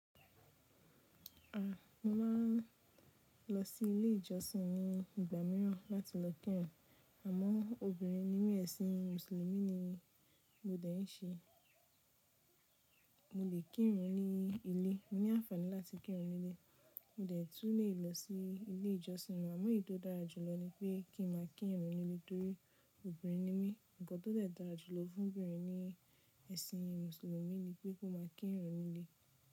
A! Mo ma n lọ sí ilé ìjọsìn ní ìgbà mìíràn láti lọ kírun, àmọ́ obìnrin ní mí ẹ̀sìn mùsùlùmí ni mo dẹ̀ ń ṣe. Mo lè kírun ní ilé, mo ní àǹfàní láti kírun ní ilé. Mo dẹ̀ tún lè lọ sí ilé ìjọsìn, àmọ́ èyí tó dára jùlọ ni pé kí n máa kírun nílé torí obìnrin ni mí. Ǹkan tó dẹ̀ dára jùlọ fún obìnrin ní ẹ̀sìn mùsùlùmí ni pé kó máa kírun nílé.